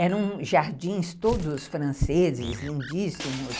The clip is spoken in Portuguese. Eram jardins todos franceses, lindíssimos.